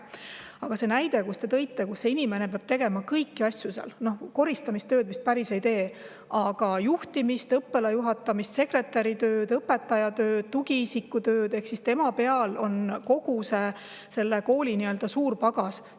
Aga see näide, mis te tõite, et see inimene peab seal tegema kõiki asju, koristamistööd vist päris ei tee, aga juhtimist, õppealajuhataja ja sekretäri tööd, õpetaja tööd, tugiisiku tööd – tema peal on kogu selle kooli "suur pagas".